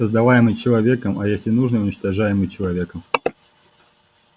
создаваемый человеком а если нужно уничтожаемый человеком